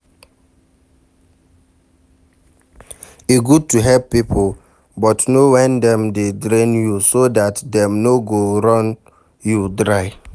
E good to help pipo but know when dem dey drain you so dat dem no go run you dry